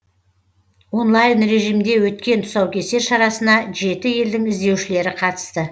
онлайн режимде өткен тұсаукесер шарасына жеті елдің іздеушілері қатысты